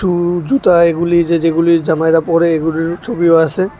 উ জুতা এগুলি যে যেগুলি জামাইরা পরে এগুলিরও ছবিও আসে।